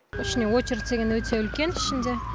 ішіне очередь деген өте үлкен ішінде